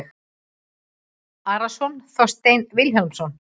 Arason og Þorstein Vilhjálmsson